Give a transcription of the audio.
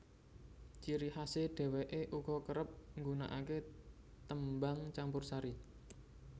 Ciri khasè dhewèkè uga kerep nggunakakè tembang campursari